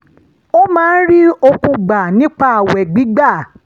ó máa ń rí okun gbà nípa ààwẹ̀ gbígbà